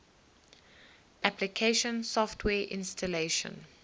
application software installation